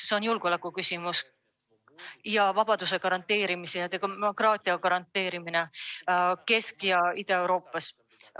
See on julgeolekuküsimus ning vabaduse ja demokraatia garanteerimine Kesk‑ ja Ida-Euroopas.